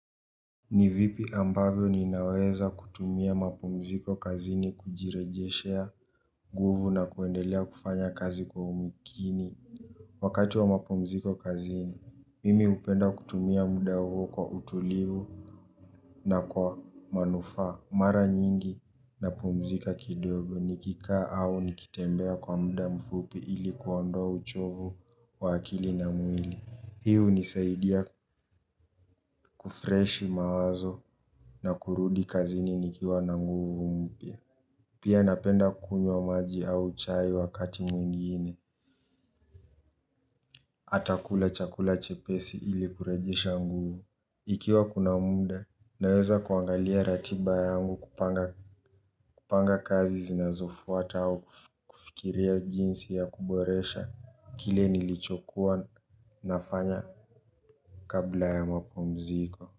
Ni vipi ambavyo ninaweza kutumia mapumziko kazini kujirejeshea nguvu na kuendelea kufanya kazi kwa umakini. Wakati wa mapumziko kazini, mimi hupenda kutumia muda huo kwa utulivu na kwa manufaa. Mara nyingi napumzika kidogo nikikaa au nikitembea kwa muda mfupi ili kuondoa uchovu wa akili na mwili. Hii hunisaidia kufresh mawazo na kurudi kazini nikiwa na nguvu mpya. Pia napenda kunywa maji au chai wakati mwingine. Hata kula chakula chepesi ili kurejesha nguvu. Ikiwa kuna muda, naweza kuangalia ratiba yangu, kupanga kazi zinazofuata au kufikiria jinsi ya kuboresha kile nilichokuwa nafanya kabla ya mapumziko.